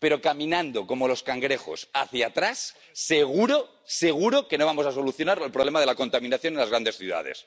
Pero caminando como los cangrejos, hacia atrás, seguro, seguro que no vamos a solucionar el problema de la contaminación en las grandes ciudades.